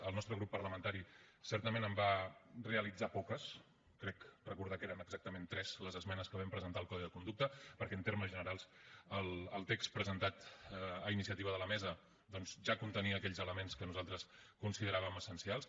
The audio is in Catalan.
el nostre grup parlamentari certament en va realitzar poques crec recordar que eren exactament tres les esmenes que vam presentar al codi de conducta perquè en termes generals el text presentat a iniciativa de la mesa doncs ja contenia aquells elements que nosaltres consideràvem essencials